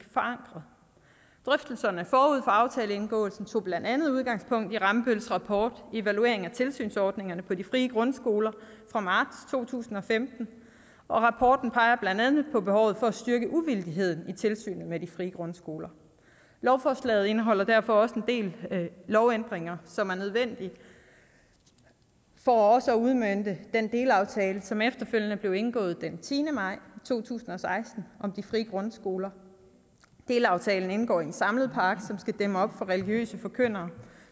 forankret drøftelserne forud for aftaleindgåelsen tog blandt andet udgangspunkt i rambølls rapport evaluering af tilsynsordninger på de frie grundskoler fra marts to tusind og femten og rapporten peger blandt andet på behovet for at styrke uvildigheden i tilsynet med de frie grundskoler lovforslaget indeholder derfor også en del lovændringer som er nødvendige for også at udmønte den delaftale som efterfølgende blev indgået den tiende maj to tusind og seksten om de frie grundskoler delaftalen indgår i en samlet pakke som skal dæmme op for religiøse forkyndere